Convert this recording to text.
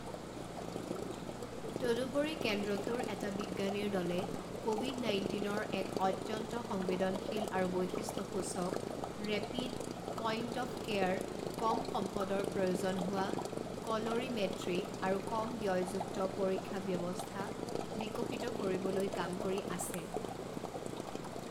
তদুপৰি, কেন্দ্ৰটোৰ এটা বিজ্ঞানীৰ দলে ক'ভিড নাইণ্টিনৰ এক অত্যন্ত সংবেদনশীল আৰু বৈশিষ্টসূচক, ৰেপিড, পইণ্ট অফ কেয়াৰ, কম সম্পদৰ প্ৰয়োজন হোৱা, ক লোৰিমেট্ৰিক আৰু কম ব্যয়যুক্ত পৰীক্ষা ব্যৱস্থা বিকশিত কৰিবলৈ কাম কৰি আছে।